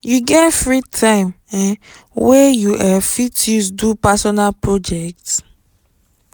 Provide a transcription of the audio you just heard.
you get free time um wey you um fit use do personal project?